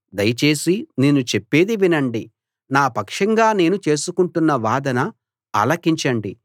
దయచేసి నేను చెప్పేది వినండి నా పక్షంగా నేను చేసుకుంటున్న వాదన ఆలకించండి